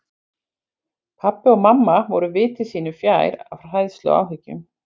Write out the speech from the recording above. Pabbi og mamma voru viti sínu fjær af hræðslu og áhyggjum.